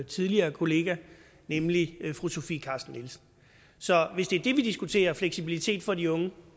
tidligere kollega nemlig fru sofie carsten nielsen så hvis det er det vi diskuterer og fleksibilitet for de unge